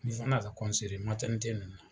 Ni Fana ka nana.